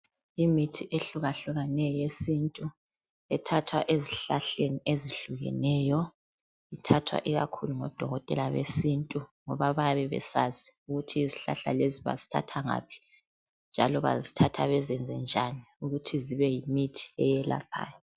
Imithi ehlukahlukaneyo yesintu ethathwa ezihlahleni ezihlukeneyo ithathwa ikakhulu ngodokotela besintu ngoba bayabe besazi ukuthi izihlahla lezi bazithatha ngaphi njalo bazithatha bezenze njani ukuthi zibe yimithi eyelaphayo.